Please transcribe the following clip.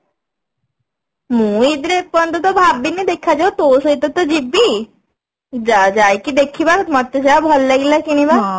ମୁଁ ଇଦ ରେ ଏପର୍ଯ୍ୟନ୍ତ ତ ଭାବିନି ଦେଖା ଯାଉ ତୋ ସହିତ ତ ଯିବି ଯାଇ ଯାଇକି ଦେଖିବା ମତେ ଯାହା ଭଲ ଲାଗିଲା କିଣିବା